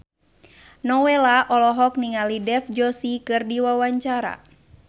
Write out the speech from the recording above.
Nowela olohok ningali Dev Joshi keur diwawancara